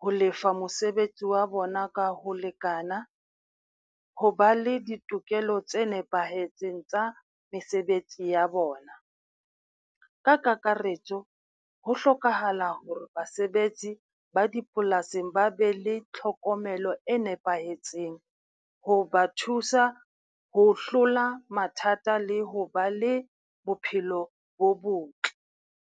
ho lefa mosebetsi wa bona ka ho lekana, ho ba le ditokelo tse nepahetseng tsa mesebetsi ya bona. Ka kakaretso ho hlokahala hore basebetsi ba dipolasing ba be le tlhokomelo e nepahetseng, ho ba thusa ho hlola mathata le ho ba le bophelo bo botle.